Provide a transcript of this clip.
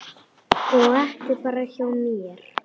Og ekki bara hjá mér.